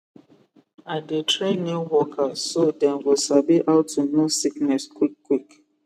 i dey train new workers so dem go sabi how to know sickness quick quick